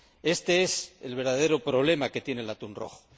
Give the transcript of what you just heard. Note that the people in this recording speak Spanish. Este es el verdadero problema que tiene el atún rojo.